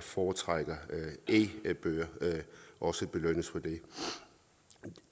foretrækker e bøger også belønnes for det